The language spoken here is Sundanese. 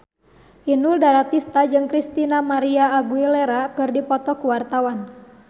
Inul Daratista jeung Christina María Aguilera keur dipoto ku wartawan